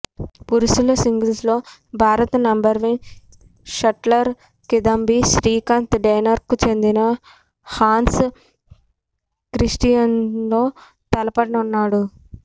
పురుషుల సింగిల్స్లో భారత నంబర్వన్ షట్లర్ కిదాంబి శ్రీకాంత్ డెన్మార్క్కు చెందిన హాన్స్ క్రిస్టియాన్తో తలపడనున్నాడు